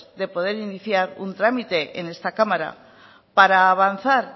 de poder iniciar un trámite en esta cámara para avanzar